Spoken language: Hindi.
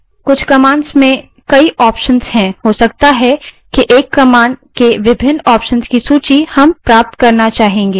कुछ commands में कई options होते हैं हो सकता है कि एक commands के विभिन्न options की सूची हम प्राप्त करना चाहें